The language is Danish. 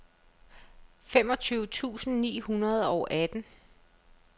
femogtyve tusind ni hundrede og atten